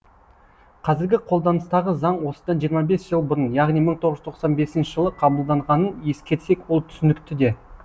қазіргі қолданыстағы заң осыдан жиырма бес жыл бұрын яғни мығ тоғыз жүз тоқсан бесінші жылы қабылданғанын ескерсек ол түсінікті де